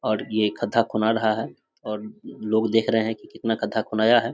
और ये खड्डा खुना रहा है और लोग देख रहे हैं की कितना खड्डा खुनाया है।